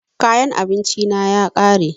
Kayan abinci na ya ƙare